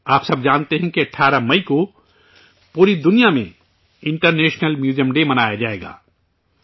آپ سب جانتے ہیں کہ 18 مئی کو پوری دنیا میں انٹرنیشنل میوزیم ڈے منایا جائے گا